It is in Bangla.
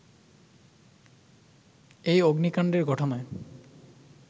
এই অগ্নিকান্ডের ঘটনায়